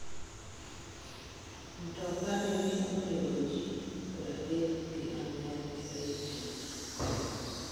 Mtoka nene onego ji pradek gi ang'wen e piny Haiti